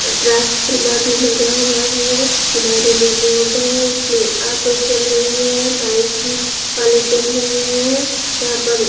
transformer भी लगा हुआ है किनारे में रोड है उसमें ऑटो चल रही है बाइक भी वाले चल रहै हैं यहाँ पर--